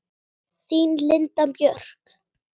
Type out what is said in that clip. Þín Linda Björk.